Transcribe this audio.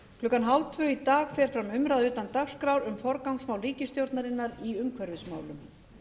klukkan hálftvö í dag fer fram umræða utan dagskrár um forgangsmál ríkisstjórnarinnar í umhverfismálum